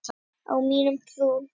Á mína trú.